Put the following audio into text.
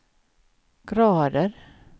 grader